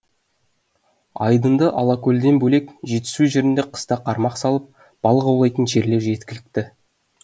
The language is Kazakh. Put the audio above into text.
айдынды алакөлден бөлек жетісу жерінде қыста қармақ салып балық аулайтын жерлер жеткілікті